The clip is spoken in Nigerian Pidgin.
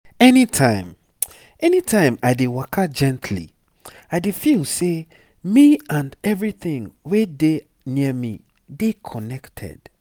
anytime anytime i dey waka gently i dey feel say me and everything wey dey near me dey connected.